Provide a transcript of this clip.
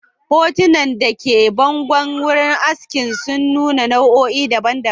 Hotunan da ke bangon wuraren askin sun nuna nau'o'i daban-daban.